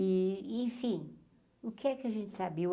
E enfim, o que é que a gente sabia?